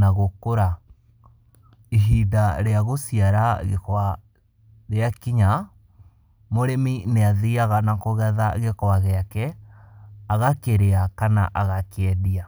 na gũkũra, ihinda rĩa gũciara gwĩka rĩa kinya, mũrĩmi nĩ athiaga na kũgetha gĩkwa gĩake agakĩrĩa kana agakĩendia.